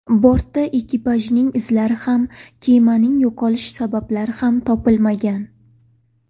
Bortda ekipajning izlari ham, kemaning yo‘qolishi sabablari ham topilmagan.